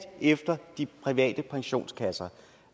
efter de private pensionskasser